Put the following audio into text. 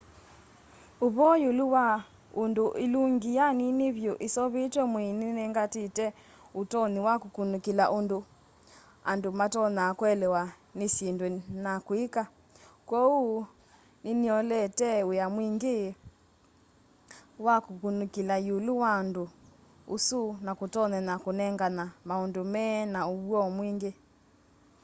ũvoo yĩũlũ wa ũndũ ĩlũngĩ ya nĩnĩ vyũ ĩseũvĩtye mwĩĩ nĩnengatĩte ũtonyĩ wa kũkũnĩkĩla ũndũ andũ matonyaa kũelewa nĩ syĩndũ na kwĩka kwooũ nĩ nĩyĩolete wĩa mwĩngĩ wa kũkũnĩkĩla yĩũlũ wa ũndũ ũsũ na kũtonyenya kũnenganya maũndũ me na ũw'o mwĩngĩ